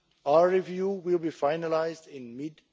Our review will be finalised in mid